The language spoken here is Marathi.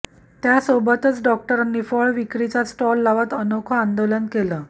त्यासोबतच डॉक्टरांनी फळ विक्रीचा स्टॉल लावत अनोखं आंदोलन केलं